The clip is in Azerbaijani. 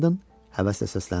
Hendon həvəslə səsləndi.